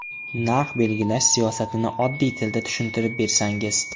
Narx belgilash siyosatini oddiy tilda tushuntirib bersangiz.